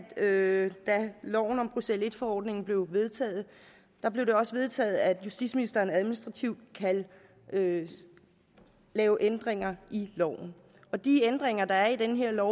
da loven om bruxelles i forordningen blev vedtaget blev det også vedtaget at justitsministeren administrativt kan lave lave ændringer i loven de ændringer der er i det her